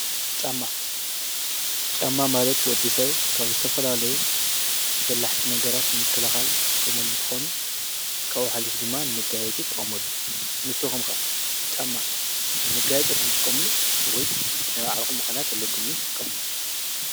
ጫማ :-ጫማ ማለት ወዲ ሰብ ካብ ዝተፈላለዩ በላሕቲ ነገራት ንምክልኻል ዝጥቀመሉ እንትኮኑ ካብኡ ሓሉፉ ድማ ንመጋየፂ ይጥቀመሉ፡፡ ንስኹም ኸ ጫማ ንመጋየፂ ዲኹም ትጥቀምሉስ ወይስ ናይ ባዕልኹም ምኽንያት ኣለኩም እዩ እትጥቀምሉ?